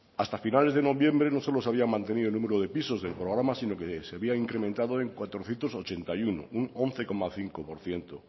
hasta finales de noviembre no solo se habían mantenido el número de pisos del programa sino que se había incrementado en cuatrocientos ochenta y uno un once coma cinco por ciento